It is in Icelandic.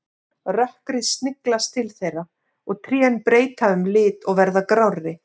Rökkrið sniglast til þeirra og trén breyta um lit og verða grárri.